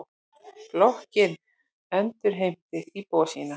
Blokkin endurheimtir íbúa sína.